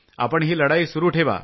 आपण ही लढाई सुरू ठेवा